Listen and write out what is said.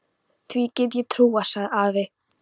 Því get ég trúað, sagði afi.